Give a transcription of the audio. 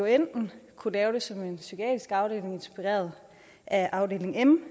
enten kunne lave det som en psykiatrisk afdeling inspireret af afdeling m